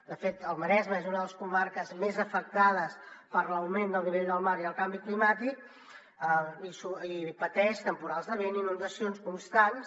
de fet el maresme és una de les comarques més afectades per l’augment del nivell del mar i el canvi climàtic i pateix temporals de vent i inundacions constants